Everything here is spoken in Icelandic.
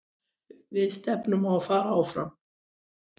Við stefnum á að fara áfram.